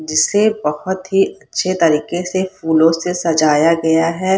जिसे बहत ही अच्छे तरीके से फूलो से सजाया गया है।